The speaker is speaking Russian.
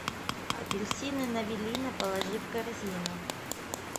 апельсины навелина положи в корзину